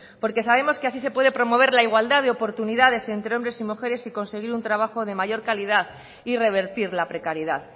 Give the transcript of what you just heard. porque sabemos que así se puede promover la igualdad de oportunidades entre hombres y mujeres y conseguir un trabajo de mayor calidad y revertir la precariedad